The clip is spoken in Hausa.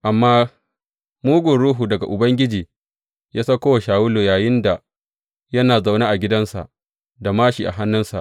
Amma mugun ruhu daga Ubangiji ya sauko wa Shawulu yayinda yana zaune a cikin gidansa da māshi a hannunsa.